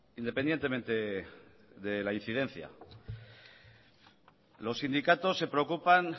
independientemente de la incidencia los sindicatos se preocupan